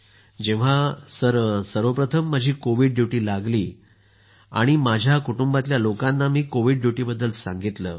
जेंव्हा सर्वप्रथम माझी कोविड ड्युटी लागली तेव्हा मी आपल्या कुटुंबातील लोकांना कोविड ड्युटीबाबत सांगितलं